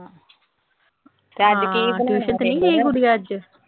ਹਾਂ ਟਿਊਸ਼ਨ ਤੇ ਨਈਂ ਗਈ ਗੁਡੀਆ ਅੱਜ?